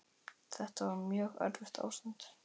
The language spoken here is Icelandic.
Þetta var mjög erfitt ástand.